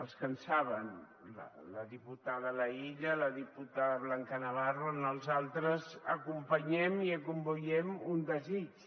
els que en saben la diputada laïlla la diputada blanca navarro els altres acompanyem i acomboiem un desig